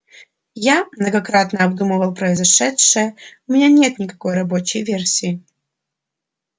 я многократно обдумывал произошедшее у меня нет никакой рабочей версии